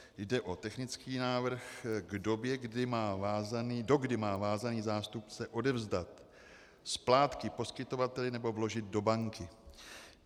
Jde o technický návrh k době, dokdy má vázaný zástupce odevzdat splátky poskytovateli nebo vložit do banky.